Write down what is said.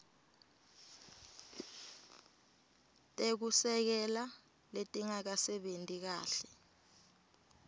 tekusekela letingasebenti kahle